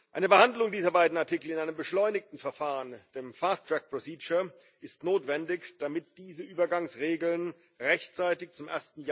Eine Behandlung dieser beiden Artikel in einem beschleunigten Verfahren ist notwendig, damit diese Übergangsregeln rechtzeitig zum